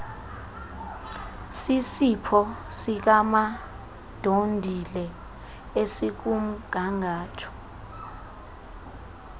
sisipho sikamadondile esikumgangatho